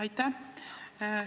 Aitäh!